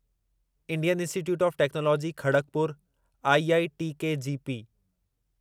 Indian Institute of Technology Kharagpur IITKGP